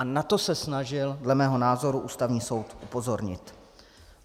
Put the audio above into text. A na to se snažil dle mého názoru Ústavní soud upozornit.